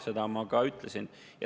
Seda ma ka ütlesin.